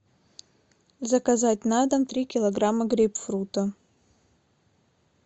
заказать на дом три килограмма грейпфрута